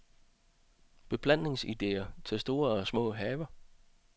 Beplantningsidéer til store og små haver.